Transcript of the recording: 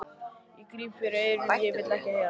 Ég gríp fyrir eyrun, ég vil ekki heyra það!